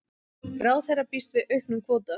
Ráðherra býst við auknum kvóta